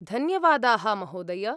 धन्यवादाः, महोदय।